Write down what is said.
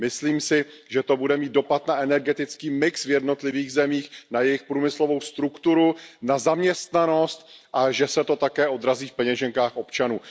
Myslím si, že to bude mít dopad na energetický mix v jednotlivých zemích, na jejich průmyslovou strukturu, na zaměstnanost a že se to také odrazí v peněženkách občanů.